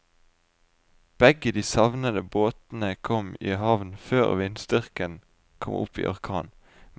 Begge de savnede båtene kom i havn før vindstyrken kom opp i orkan.